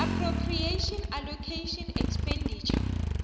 appropriation allocation expenditure